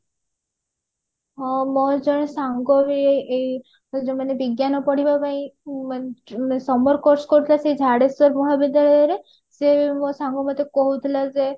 ହଁ ମୋର ଜଣେ ସାଙ୍ଗ ବି ଏଇ ଏଇ ଯୋଉ ବିଜ୍ଞାନ ପଢିବା ପାଇଁ ଉଁ summer course କରୁଥିଲା ସେଇ ଝାଡେଶ୍ଵର ମହାବିଦ୍ୟାଳୟ ରେ ସେଇ ସେ ମୋ ସାଙ୍ଗ ମତେ କହୁଥିଲା ଯେ